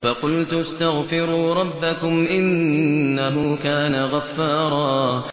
فَقُلْتُ اسْتَغْفِرُوا رَبَّكُمْ إِنَّهُ كَانَ غَفَّارًا